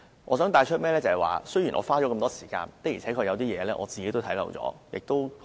我想帶出一點，雖然我花了這麼多時間，但有些事情，我的確看漏了眼。